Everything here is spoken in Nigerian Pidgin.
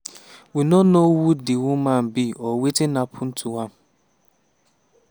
we no know who di woman be or wetin happun to am.